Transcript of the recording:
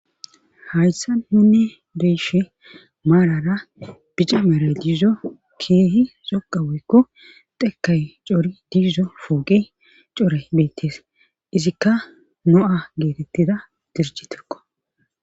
hayssa nunni beyishe maarara bica meray diizo keehi zoqa woykko dhekay cori diizo fooge core beettees izikka no7a geetettida dirji tirko